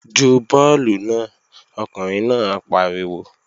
Ju bọ́ọ̀lù náà! Ọkùnrin náà pariwo